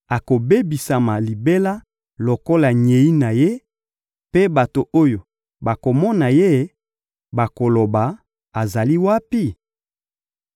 akobebisama libela lokola nyei na ye, mpe bato oyo bakomona ye bakoloba: ‹Azali wapi?›